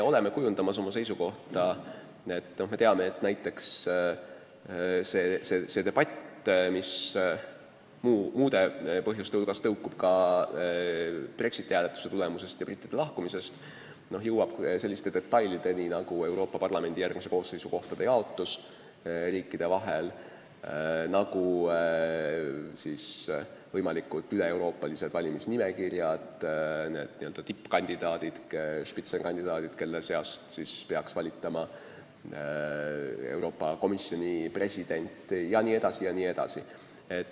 Näiteks see debatt, mis muude põhjuste hulgas johtub ka Brexiti hääletuse tulemusest ja brittide lahkumisest, jõuab selliste detailideni nagu Euroopa Parlamendi järgmise kooseisu kohtade jaotus riikide vahel, võimalikud üleeuroopalise valimisnimekirja n-ö tippkandidaadid, sh kandidaadid, kelle seast peaks valitama Euroopa Komisjoni president, jne.